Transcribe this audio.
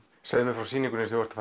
segðu mér frá sýningunni sem þú ert